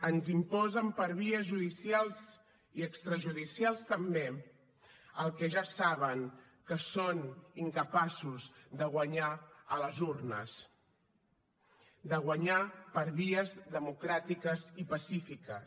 ens imposen per vies judicials i extrajudicials també el que ja saben que són incapaços de guanyar a les urnes de guanyar per vies democràtiques i pacífiques